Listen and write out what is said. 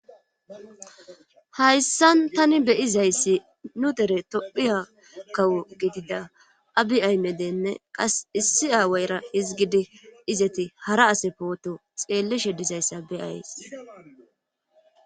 Hayssan tani beyizayssi nu dere tophiya kawo gidida abi aymedenne qas issi aawayra izgidi izati hara ase pooto xeelleshe dizayssa beyays